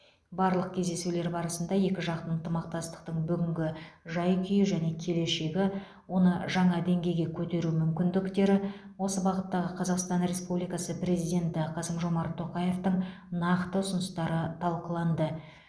барлық кездесулер барысында екіжақты ынтымақмастықтың бүгінгі жай күйі және келешегі оны жаңа деңгейге көтеру мүмкіндіктері осы бағыттағы қазақстан республикасы президенті қасым жомарт тоқаевтың нақты ұсыныстары талқыланды